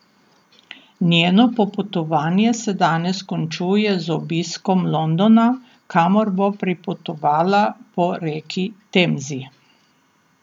Njeno popotovanje se danes končuje z obiskom Londona, kamor bo pripotovala po reki Temzi.